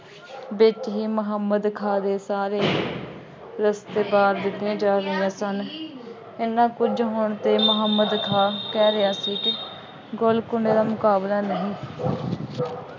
ਵਿੱਚ ਹੀ ਮੁਹੰਮਦ ਖਾਂ ਦੇ ਸਾਰੇ ਵਿਖੇ ਜਾ ਰਹੀਆਂ ਸਨ। ਐਨਾ ਕੁੱਝ ਹੋਣ ਤੇ ਮੁਹੰਮਦ ਖਾਂ ਕਹਿ ਰਿਹਾ ਸੀ ਕਿ ਗੋਲਕੁੰਡੇ ਦਾ ਮੁਕਾਬਲਾ ਨਹੀਂ